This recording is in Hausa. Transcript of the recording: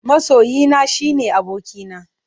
Masoyina shine abokina.